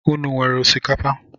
Ụnụ wéré osikapa?